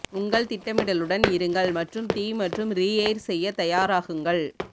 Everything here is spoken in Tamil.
உங்கள் திட்டமிடலுடன் இருங்கள் மற்றும் தீ மற்றும் ரீயெய்ர் செய்ய தயாராகுங்கள்